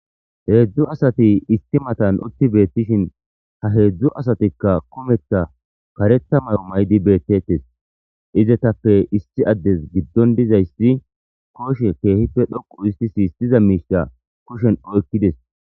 heedzdzu asati isti matan utti beettishin ha heedzdzu asatikka kumetha karetha mayo maydi beettettes izetape isti addes giddon dizayssi kooshe keehippe dhoqu histi si istiza miisha kushen oykkides